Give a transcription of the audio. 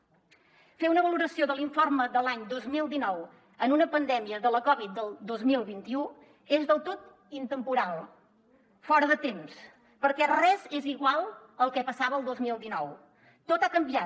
fer una valoració de l’informe de l’any dos mil dinou en una pandèmia de la covid del dos mil vint u és del tot intemporal fora de temps perquè res és igual al que passava el dos mil dinou tot ha canviat